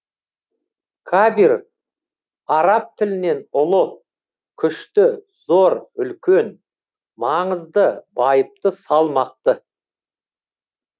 кабир араб тілінен ұлы күшті зор үлкен маңызды байыпты салмақты